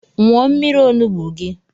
Nwụọ mmiri onugbu gi!